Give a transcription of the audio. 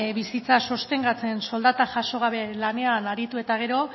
bizitza sostengatzen soldata jaso gabe lanean aritu eta gero